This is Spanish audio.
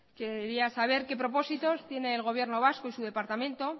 quería saber qué propósitos tiene el gobierno vasco y su departamento